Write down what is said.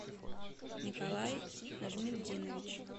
николай нажметдинович